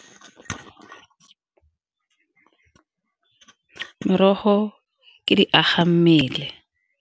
Merogo ke di aga mmele.